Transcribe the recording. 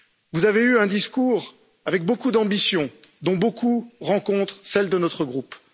Vous avez eu un discours avec beaucoup d'ambitions, dont beaucoup rencontrent celles de notre groupe.